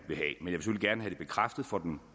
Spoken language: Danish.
have det bekræftet for den